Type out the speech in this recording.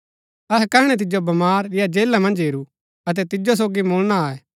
अहै कैहणै तिजो बमार या जेला मन्ज हेरू अतै तिजो सोगी मुलणा आये